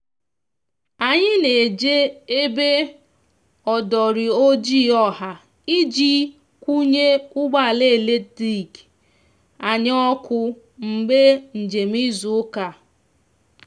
anyi n'eji ebe odori ojịị ọha iji kwunye ụgbọ ala eletrikị (ọkụ)anyi oku mgbe njem izu uka